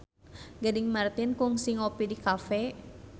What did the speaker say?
Gading Marten kungsi ngopi di cafe